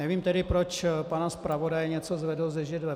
Nevím tedy, proč pana zpravodaje něco zvedlo ze židle.